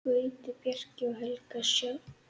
Gauti, Bjarki og Helga Sjöfn.